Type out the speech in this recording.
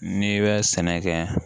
N'i bɛ sɛnɛ kɛ